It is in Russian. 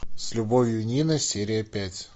с любовью нина серия пять